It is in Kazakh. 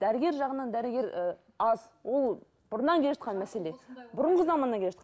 дәрігер жағынан дәрігер і аз ол бұрыннан келе жатқан мәселе бұрынғы заманнан келе